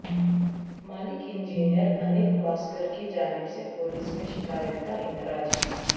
مالک engineer Anil Kalaskar کی جانب سے پولیس میں شکایت کا اندراج